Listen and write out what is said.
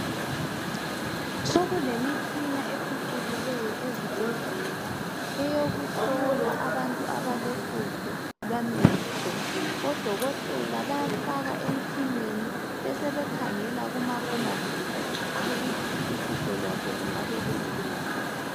Sokulemitshina ephucukileyo ezibhedlela eyokuhlola abantu abalohlupho lwamehlo. Odokotela bayamfaka emtshineni besebekhangela kumabonakude ukuthi uhlupho lwakhe lungabe lungaphi.